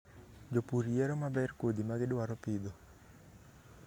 Jopur yiero maber kodhi ma gidwaro pidho.